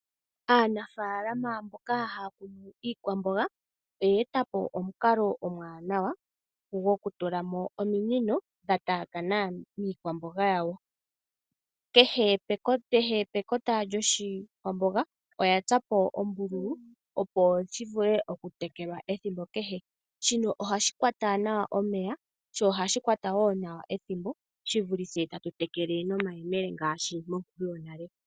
Aanafalama mboka haya munu iikwamboga oye etapo omukalo omuwanawa gwoku tulamo ominino dha taakana miikwamboga yawo. Kehe pekota lyoshikwamboga oya tsapo ombululu opo shi vule oku tekelwa ethimbo kehe. Sho ohashi kwata nawa omeya, sho ohashi kwata nawa ethimbo. Shi vulithe tatu tekele nomayemele ngaashi monkulu yonale.